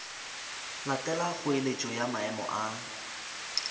latela kgoeletšo ya maemo a